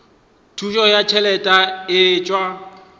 thušo ya ditšhelete e tšwa